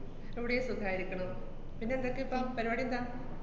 ഇവിടേം സുഖായിരിക്കണു. പിന്നെ എന്തൊക്കെയിപ്പം? പരിപാടിയെന്താ?